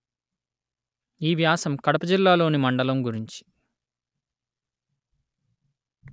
ఈ వ్యాసం కడప జిల్లాలోని మండలము గురించి